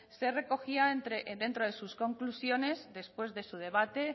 se recogía dentro de sus conclusiones después de su debate